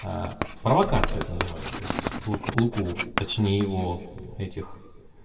провокация это называется то есть лука луку точнее его этих